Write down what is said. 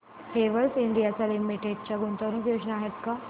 Havells India limited च्या गुंतवणूक योजना आहेत का